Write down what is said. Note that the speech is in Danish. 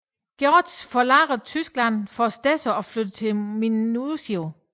George forlader Tyskland for stedse og flytter til Minusio